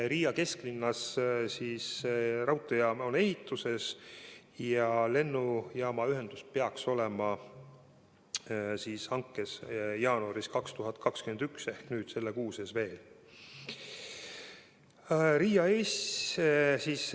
Riia kesklinnas on ehitamisel raudteejaam ja lennujaama ühendus peaks olema hankes 2021. aasta jaanuaris ehk selle kuu sees.